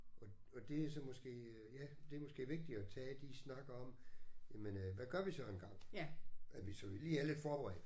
Og og det er så måske ja det er måske vigtigt at tage de snakke om jamen øh hvad gør vi så engang at vi så vi lige er lidt forberedt